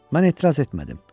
Mən etiraz etmədim.